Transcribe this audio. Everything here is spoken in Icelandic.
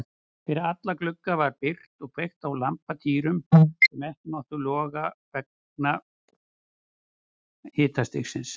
Fyrir alla glugga var byrgt og kveikt á lampatýrum sem ekkert máttu loga vegna hristingsins.